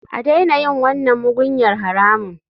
A daina yin wannan mugunyar haramun.